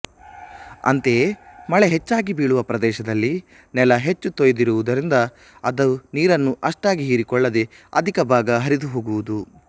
ಅಂತೆಯೇ ಮಳೆ ಹೆಚ್ಚಾಗಿ ಬೀಳುವ ಪ್ರದೇಶದಲ್ಲಿ ನೆಲ ಹೆಚ್ಚು ತೊಯ್ದಿರುವುದರಿಂದ ಅದು ನೀರನ್ನು ಅಷ್ಟಾಗಿ ಹೀರಿಕೊಳ್ಳದೆ ಅಧಿಕಭಾಗ ಹರಿದುಹೋಗುವುದು